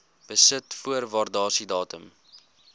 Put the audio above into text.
besit voor waardasiedatum